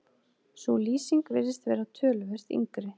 Sú lýsing virðist vera töluvert yngri.